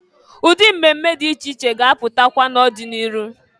Ụdị mmemme dị iche iche ga-apụtakwa n'ọdị n'iru.